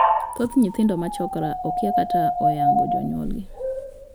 Thoth nyithindo ma 'chokra' okia kata ok oyango jonyuolgi.